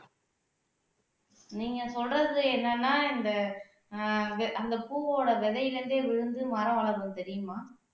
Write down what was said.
நீங்க சொல்றது என்னன்னா இந்த ஆஹ் வி அந்த பூவோட விதையில இருந்தே விழுந்து மரம் வளரும் தெரியுமா